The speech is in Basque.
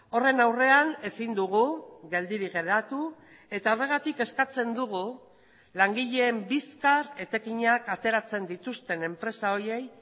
horren aurrean ezin dugu geldirik geratu eta horregatik eskatzen dugu langileen bizkar etekinak ateratzen dituzten enpresa horiei